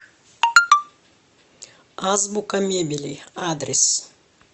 азбука мебели адрес